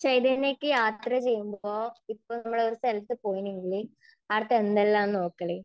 ചൈതന്യയ്ക്ക് യാത്ര ചെയ്യുമ്പോൾ, ഇപ്പോൾ നമ്മൾ ഒരു സ്ഥലത്ത് പോയിനെയെങ്കില്, ആടുത്തെ എന്തെല്ലാം ആണ് നോക്കല്?